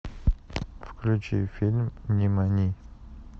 включи фильм нимани